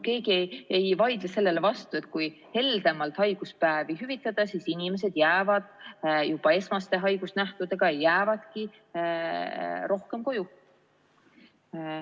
Keegi ei vaidle sellele vastu, et kui heldemalt haiguspäevi hüvitada, siis inimesed jäävadki juba esmaste haigusnähtudega rohkem koju.